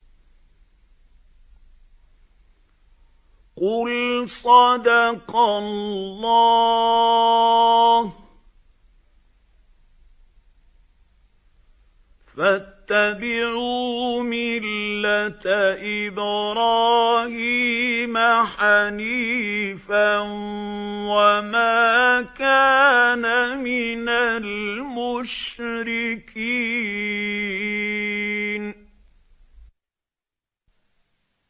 قُلْ صَدَقَ اللَّهُ ۗ فَاتَّبِعُوا مِلَّةَ إِبْرَاهِيمَ حَنِيفًا وَمَا كَانَ مِنَ الْمُشْرِكِينَ